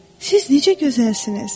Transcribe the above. Siz necə gözəlsiniz?